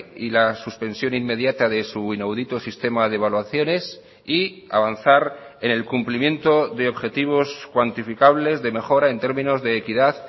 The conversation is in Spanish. y la suspensión inmediata de su inaudito sistema de evaluaciones y avanzar en el cumplimiento de objetivos cuantificables de mejora en términos de equidad